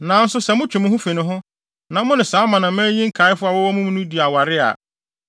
“Nanso sɛ motwe mo ho fi ne ho, na mo ne saa amanaman yi nkaefo a wɔwɔ mo mu yi di aware a,